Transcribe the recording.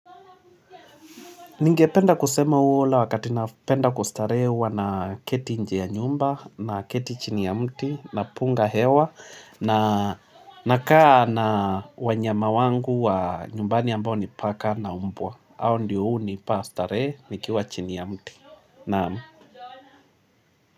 Ningependa kusema huwa ule wakati napenda kustarehe huwa naketi nje ya nyumba naketi chini ya mti napunga hewa na nakaa na wanyama wangu wa nyumbani ambao ni paka na umbwa. Hao ndio hunipa starehe nikiwa chini ya mti. Naam.